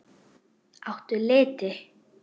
Áttu liti?